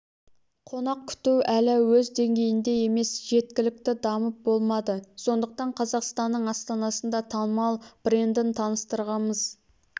қонақ күту әлі өз деңгейінде емес жеткілікті дамып болмады сондықтан қазақстанның астанасында танымал брендін таныстырғымыз